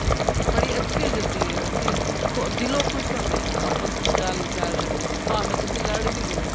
ਬੜੀ ਅੱਛੀ ਜਿੰਦਗੀ ਏ ਅਸੀਂ ਦਿਲੋ ਖੁਸ਼ ਹੁੰਨੇ ਆ ਆਪਸ ਵਿੱਚ ਗੱਲ ਕਰ ਭਾਵੇ ਲੜ ਵੀ ਰਹੇ ਓ